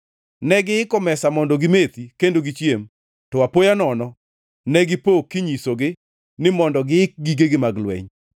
Negiiko mesa mondo gimethi kendo gichiem, to apoya nono negipo kinyisogi, ni mondo giik gigegi mag lweny.